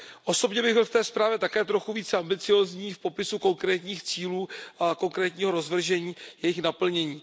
Osobně bych byl v té zprávě také trochu více ambiciózní v popisu konkrétních cílů a konkrétního rozvržení jejich naplnění.